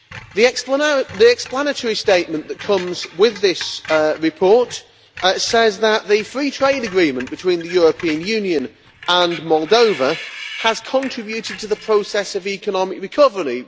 The explanatory statement that comes with this report says that the free trade agreement between the European Union and Moldova has contributed to the process of economic recovery.